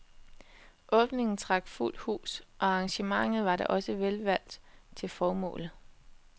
Åbningen trak fuldt hus, og arrangementet var da også velvalgt til formålet.